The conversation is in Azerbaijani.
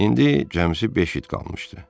İndi cəmsi beş it qalmışdı.